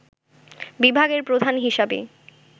বিভাগের প্রধান হিসাবে